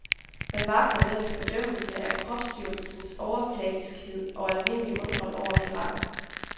Man vakler mellem fordømmelse af kropsdyrkelsens overfladiskhed og almindelig undren over virakken.